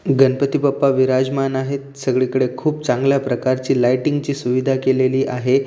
गणपती बाप्पा विराजमान आहेत सगळीकडे खूप चांगल्या प्रकारची लाइटींग ची सुविधा केलेली आहे.